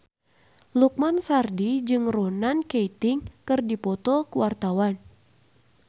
Lukman Sardi jeung Ronan Keating keur dipoto ku wartawan